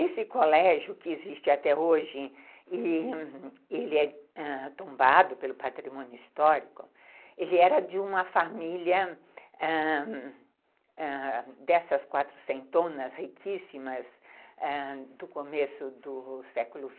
Esse colégio que existe até hoje, ele é tombado pelo patrimônio histórico, ele era de uma família, ãh... ãh... dessas quatrocentonas riquíssimas do começo do século...